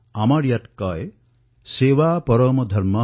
আৰু আমাৰ ইয়াত কোৱাই হয় যে সেৱাই পৰম ধৰ্ম